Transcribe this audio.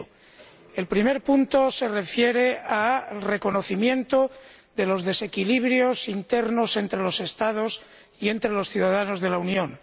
El primer punto se refiere al reconocimiento de los desequilibrios internos entre los Estados y entre los ciudadanos de la Unión.